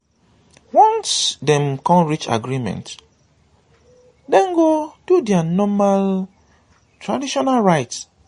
once dem con reach agreement dem go do dia normal traditional rites